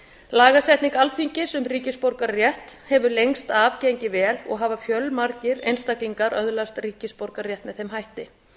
lagasetning alþingis um ríkisborgararétt hefur lengst af gengið vel og hafa fjölmargir einstaklingar öðlast ríkisborgararétt með þeim hætti